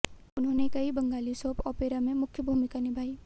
उन्होंने कई Bengali soap opera में मुख्य भूमिका निभाई